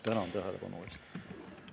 Tänan tähelepanu eest!